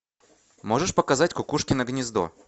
можешь показать кукушкино гнездо